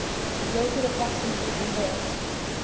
located approximately convert